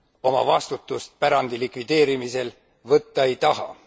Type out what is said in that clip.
oma vastutust pärandi likvideerimisel võtta ei taha.